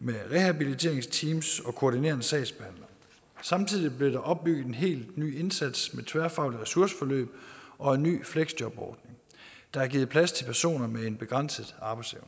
med rehabiliteringsteams og koordinerende sagsbehandler samtidig blev der opbygget en helt ny indsats med tværfaglige ressourceforløb og en ny fleksjobordning der er givet plads til personer med en begrænset arbejdsevne